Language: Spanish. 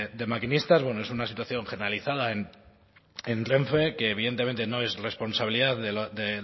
de maquinistas bueno es una situación generalizada en renfe que evidentemente no es responsabilidad de